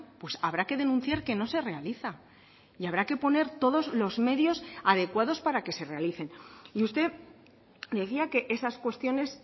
pues habrá que denunciar que no se realiza y habrá que poner todos los medios adecuados para que se realicen y usted decía que esas cuestiones